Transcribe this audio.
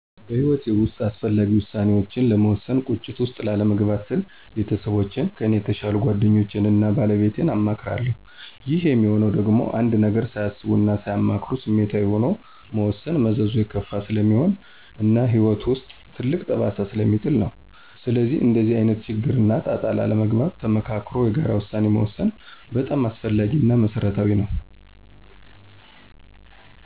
በሕይወቴ ውስጥ አስፈላጊ ውሳኔዎችን ለመወሰን ቁጭት ውስጥ ላለመግባት ስል ቤተሰቦቼን; ከኔ የተሻሉ ጓደኞቼን እና ባለቤቴን አማክራለሁ። ይህም ሚሆነው ደግሞ አንድን ነገር ሳያስቡ እና ሳያማክሩ ስሜታዊ ሆኖ መወሰን መዘዙ የከፋ ስለሚሆን እና በህይወት ውስጥ ትልቅ ጠባሳ ስለሚጥል ነው። ስለዚህም እንደዚህ አይነት ችግር እና ጣጣ ላለመግባት ተመካክሮ የጋራ ውሳኔ መወሰን በጣም አስፈላጊ እና መሰረታዊ ነው።